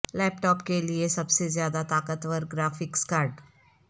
لیپ top کے لئے سب سے زیادہ طاقتور گرافکس کارڈ